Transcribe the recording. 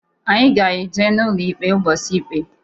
Anyị ga-eje n'ụlọ ikpe ụbọchị ikpe.